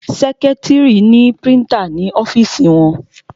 Sẹ́kítrì ni prítà ní ọ́fìsì wọn.